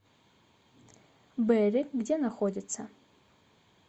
берри где находится